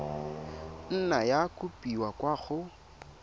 nna ya kopiwa kwa go